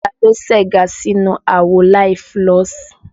Taa ló segá sínú àwo láì fúlọ̀sì?